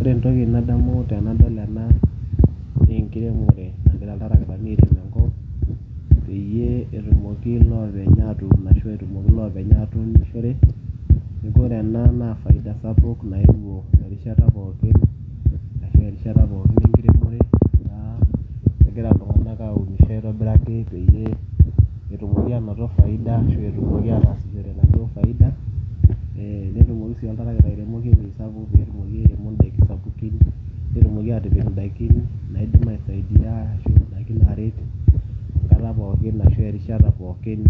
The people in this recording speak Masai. Ore entoki nadamu tenadol ena nee enkiremore nagira iltarakitani aatur enkop peyie etumoki loopeny aatun ashu etumoki loopeny aatunishore. Neeku ore ena naa faida sapuk naewuo erishata pookin ashu erishata pookin enkiremore etaa kegira iltung'anak aunisho aitobiraki peyie etumoki aanoto faida ashu etumoki aatasishore enaduo faida, ee netumoki sii oltarakita airemoki ewuei sapuk pee etumoki airemo sapukin, netumoki aatipik ndaikin naidim aisaidia ashu ndaikin naaret enkata pookin ashu erishata pookin